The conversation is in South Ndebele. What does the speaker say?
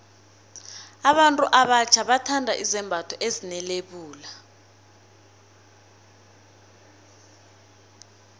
abantu abatjha bathanda izembatho ezine lebula